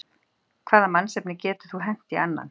Hvaða mannsnafni getur þú hent í annan?